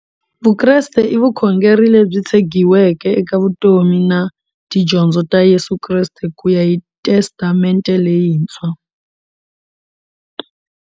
Vukreste i vukhongeri lebyi tshegiweke eka vutomi na tidyondzo ta Yesu Kreste kuya hi Testamente leyintshwa.